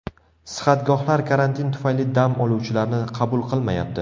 Sihatgohlar karantin tufayli dam oluvchilarni qabul qilmayapti.